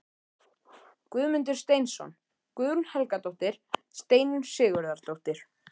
Guðmundur Steinsson, Guðrún Helgadóttir, Steinunn Sigurðardóttir